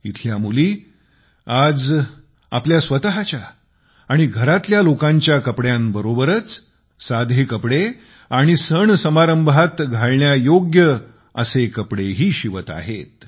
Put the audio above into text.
येथील मुली आज आपले व आपल्या कुटुंबातल्या लोकांच्या कपड्यांबरोबर साधे कपडे आणि सणासमारंभात घालण्यायोग्य कपडे शिवत आहेत